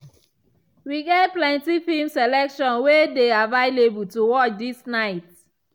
we get plenty film selection way dey available to watch this night.